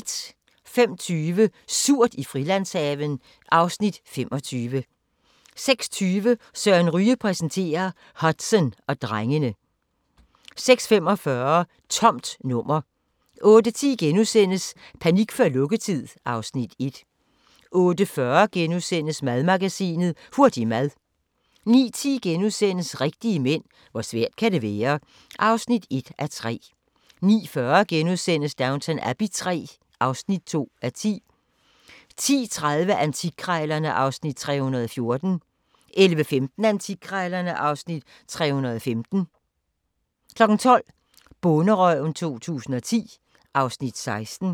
05:20: Surt i Frilandshaven (Afs. 25) 06:20: Søren Ryge præsenterer - Hudson og drengene 06:45: Tomt nummer 08:10: Panik før lukketid (Afs. 1)* 08:40: Madmagasinet: Hurtig mad * 09:10: Rigtige mænd - hvor svært kan det være? (1:3)* 09:40: Downton Abbey III (2:10)* 10:30: Antikkrejlerne (Afs. 314) 11:15: Antikkrejlerne (Afs. 315) 12:00: Bonderøven 2010 (Afs. 16)